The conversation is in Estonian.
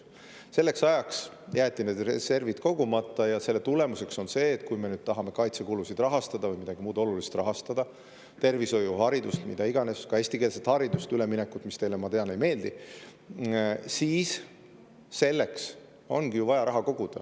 Selleks ajaks jäeti need reservid kogumata ja selle tulemuseks on see, et kui me nüüd tahame kaitsekulusid rahastada või midagi muud olulist rahastada: tervishoidu, haridust, mida iganes – ka eestikeelsele haridusele üleminekut, mis teile, ma tean, ei meeldi –, siis selleks ongi vaja raha koguda.